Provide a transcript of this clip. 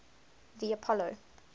the apollo